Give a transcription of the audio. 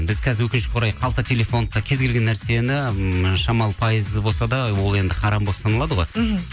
біз қазір өкінішке орай қалта телефонды да кез келген нәрсені ммм шамалы пайыз болса да ол енді харам болып саналады ғой мхм